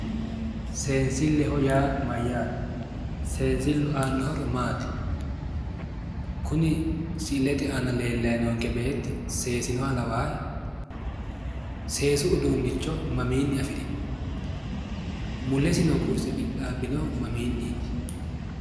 Seenisilleho yaa Mayyaate? Seenisillu aanno horo maati? Kuni ai"ileta aana lelay noonikke beetti seesinoha lawaahe? Seesu uduunnicho mamiinni afirino? Mulesi noo kurise qixaabbinohu mamiiniit?